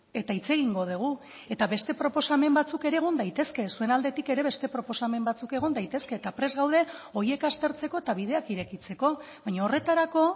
eta hitz egingo dugu eta beste proposamen batzuk ere egon daitezke zuen aldetik ere beste proposamen batzuk egon daitezke eta prest gaude horiek aztertzeko eta bideak irekitzeko baina horretarako